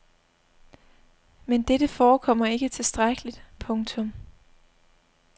Men dette forekommer ikke tilstrækkeligt. punktum